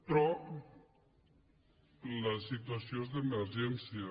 però la situació és d’emergència